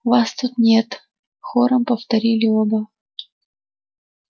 вас тут нет хором повторили оба